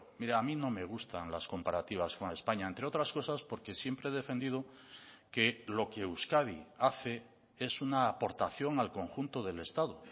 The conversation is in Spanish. mire a mí no me gustan las comparativas con españa entre otras cosas porque siempre he defendido que lo que euskadi hace es una aportación al conjunto del estado